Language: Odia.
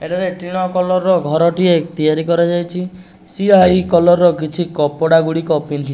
ଏଠାରେ ଟିଣ କଲର୍ ର ଘରଟିଏ ତିଆରି କରାଯାଇଚି। ସିଆହି କଲର୍ ର କିଛି କପଡ଼ାଗୁଡ଼ିକ ପିନ୍ଧି --